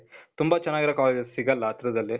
ತುಂಬಾ ಚನಾಗಿರೋ ಕಾಲೇಜಸ್ ಸಿಗೊಲ್ಲ ಹತ್ರದಲ್ಲಿ.